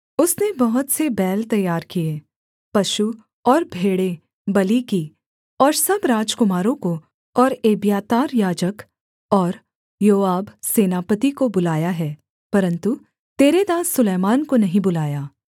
उसने बहुत से बैल तैयार किए पशु और भेड़ें बलि की और सब राजकुमारों को और एब्यातार याजक और योआब सेनापति को बुलाया है परन्तु तेरे दास सुलैमान को नहीं बुलाया